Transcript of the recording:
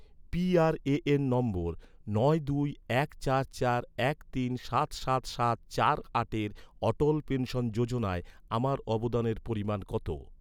PRAN নম্বর, নয় দুই এক চার চার এক তিন সাত সাত সাত চার আটের অটল পেনশন যোজনায়, আমার অবদানের পরিমাণ কত?